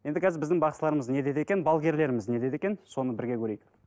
енді қазір біздің бақсыларымыз не дейді екен балгерлеріміз не дейді екен соны бірге көрейік